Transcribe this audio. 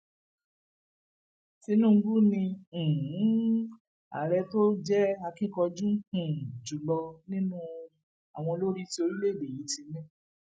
tinúbú ni um àárẹ tó jẹ akínkanjú um jù lọ nínú àwọn olórí tí orílẹèdè yìí ti ní